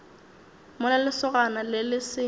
mola lesogana le le se